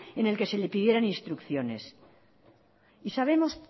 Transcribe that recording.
en el que se le pidieran instrucciones y sabemos